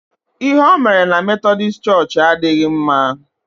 Ihe o mere na metọdis chọọchị adịghị mma.